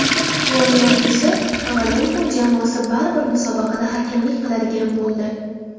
Quvonarlisi, Kovalenko jamoasi baribir musobaqada hakamlik qiladigan bo‘ldi.